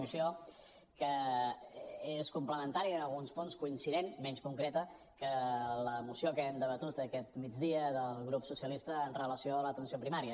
moció que és complementària i en alguns punts coincident menys concreta amb la moció que hem debatut aquest migdia del grup socialista amb relació a l’atenció primària